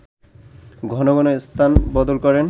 ঘন ঘন স্থান বদল করেন